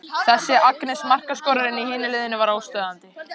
Þessi Agnes, markaskorarinn í hinu liðinu var óstöðvandi.